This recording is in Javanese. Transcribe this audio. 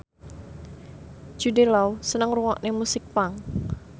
Jude Law seneng ngrungokne musik punk